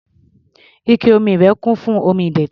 Ike omi rẹ̀ kún fún omi ìdọ̀tí.